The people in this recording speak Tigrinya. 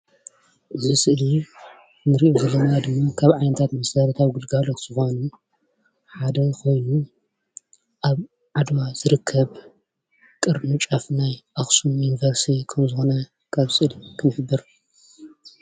እዚ ምስሊ ናይ መካነ ኣእምሮ ኣክሱም ዓድዋ ቅርንጫ እዩ።